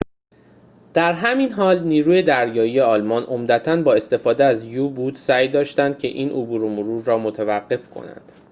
در همین حال نیروی دریایی آلمان عمدتاً با استفاده از یو-بوت سعی داشت که این عبور و مرور را متوقف کند